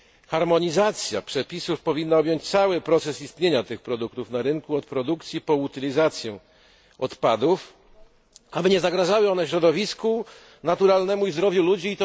Harmonizacja przepisów powinna objąć cały cykl istnienia tych produktów na rynku, od produkcji po utylizację odpadów, aby nie zagrażały one środowisku naturalnemu i zdrowiu ludzi.